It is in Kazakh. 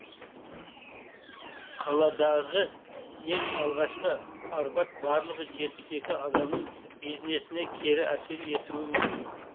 қаладағы ең алғашқы арбат барлығы жетпіс екі адамның бизнесіне кері әсер ету мүмкін